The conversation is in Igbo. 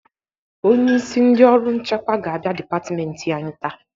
Onyeisi ndị ọrụ nchekwa ga-abịa dịpatịmentị anyị taa.